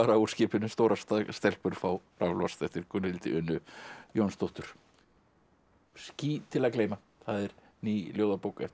úr skipinu stórar stelpur fá raflost eftir Gunnhildi Unu Jónsdóttur ský til að gleyma það er ný ljóðabók eftir